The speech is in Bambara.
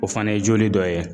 O fana ye joli dɔ ye